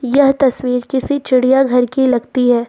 यह तस्वीर किसी चिड़ियाघर की लगती है।